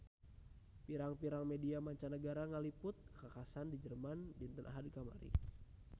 Pirang-pirang media mancanagara ngaliput kakhasan di Jerman dinten Ahad kamari